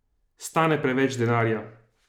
Stane preveč denarja?